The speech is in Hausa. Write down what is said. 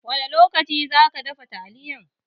Wani lokaci zaki dafa taliyan?